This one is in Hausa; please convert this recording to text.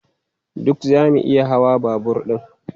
Duk zamu iya hawa babur ɗin?